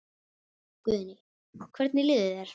Guðný: Hvernig líður þér?